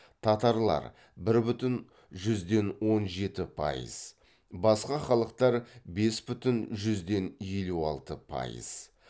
татарлар бір бүтін жүзден он жеті пайыз басқа халықтар бес бүтін жүзден елу алты пайыз